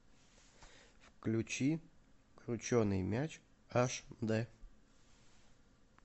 включи крученый мяч аш дэ